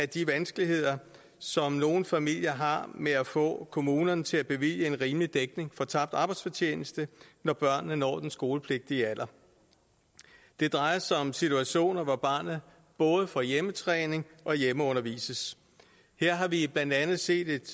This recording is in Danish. de vanskeligheder som nogle familier har med at få kommunerne til at bevilge en rimelig dækning af tabt arbejdsfortjeneste når børnene når den skolepligtige alder det drejer sig om situationer hvor barnet både får hjemmetræning og hjemmeundervises her har vi blandt andet set et